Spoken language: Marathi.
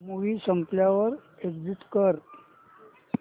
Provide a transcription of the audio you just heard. मूवी संपल्यावर एग्झिट कर